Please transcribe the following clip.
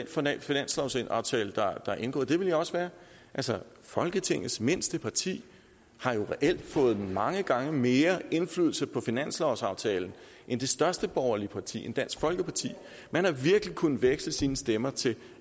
for den finanslovsaftale der er indgået det ville jeg også være altså folketingets mindste parti har jo reelt fået mange gange mere indflydelse på finanslovsaftalen end det største borgerlige parti altså end dansk folkeparti man har virkelig kunnet veksle sine stemmer til